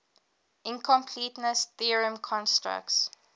incompleteness theorem constructs